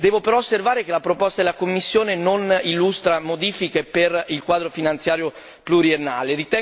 Devo però osservare che la proposta della Commissione non illustra modifiche per il quadro finanziario pluriennale.